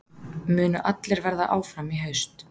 Munu allar verða áfram í haust?